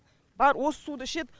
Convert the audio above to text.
бәрі осы суды ішеді